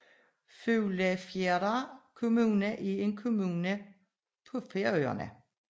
Fuglafjarðar kommuna er en kommune på Færøerne